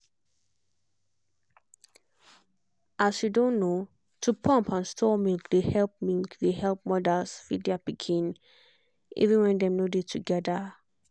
as you don know to pump and store milk dey help milk dey help mothers feed their pikins even when dem nor dey together.